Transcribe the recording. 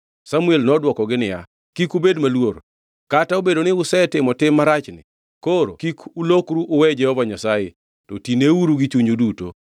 Samuel nodwokogi niya, “Kik ubed maluor. Kata obedo ni usetimo tim marachni, koro kik ulokru uwe Jehova Nyasaye, to tineuru gi chunyu duto.